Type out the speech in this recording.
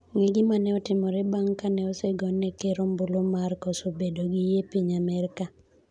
Ng'e gima ne otimore bang' kane osegone ker ombulu mar koso bedo gi yie piny Amerka